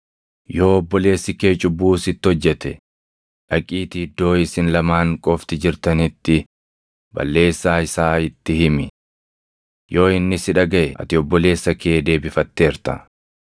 “Yoo obboleessi kee cubbuu sitti hojjete, dhaqiitii iddoo isin lamaan qofti jirtanitti balleessaa isaa itti himi. Yoo inni si dhagaʼe ati obboleessa kee deebifatteerta.